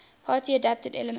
party adapted elements